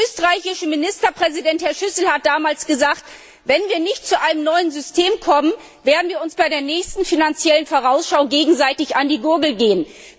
Der österreichische Bundeskanzler Schüssel hat damals gesagt Wenn wir nicht zu einem neuen System kommen, werden wir uns bei der nächsten Finanziellen Vorausschau gegenseitig an die Gurgel gehen.